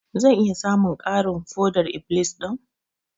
Zan iya samun ƙarin foɗar-iblis ɗin?